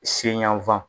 Se yanfan